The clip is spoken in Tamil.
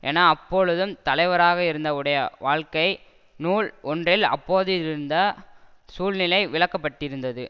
என அப்பொழுது தலைவராக இருந்த உடைய வாழ்க்கை நூல் ஒன்றில் அப்போதிருந்த சூழ்நிலை விளக்க பட்டிருந்தது